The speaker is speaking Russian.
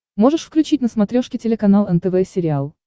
можешь включить на смотрешке телеканал нтв сериал